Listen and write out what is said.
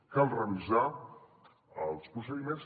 cal revisar els procediments